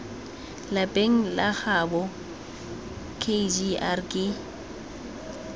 lapeng la gaabo kgr ke